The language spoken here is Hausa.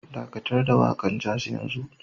Dakatar da waƙar jazz yanzu